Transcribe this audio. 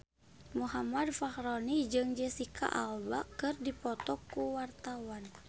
Muhammad Fachroni jeung Jesicca Alba keur dipoto ku wartawan